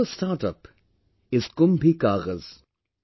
Another StartUp is 'KumbhiKagaz'